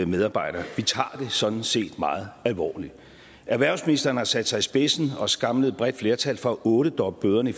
medarbejdere vi tager det sådan set meget alvorligt erhvervsministeren har sat sig i spidsen og samlet et bredt flertal for at ottedoble bøderne